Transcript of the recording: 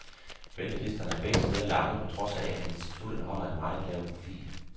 Ventelisterne er begge steder lange på trods af, at institutterne holder en meget lav profil.